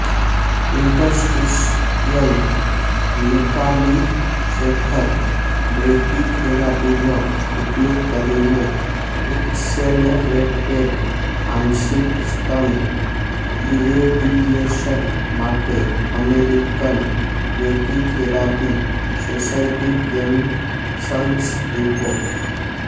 interstitial multicatheter બ્રેકીથેરાપીનો ઉપયોગ કરીને એક્સેલરેટેડ આંશિક સ્તન ઇરેડિયેશન માટે American Brachytherapy Society consensus report